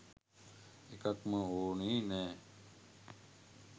එකක්ම ඕනේ නෑ.